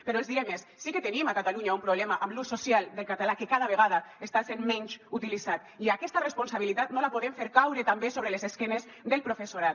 però els diré més sí que tenim a catalunya un problema amb l’ús social del català que cada vegada està sent menys utilitzat i aquesta responsabilitat no la podem fer caure també sobre les esquenes del professorat